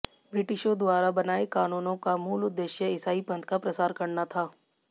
ब्रिटिशों द्वारा बनाए कानूनों का मूल उद्देश्य ईसाई पंथ का प्रसार करना था